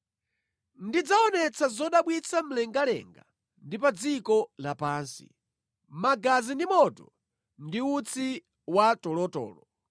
Ndidzaonetsa zodabwitsa mlengalenga ndi pa dziko lapansi, ndizo magazi, moto ndi utsi watolotolo.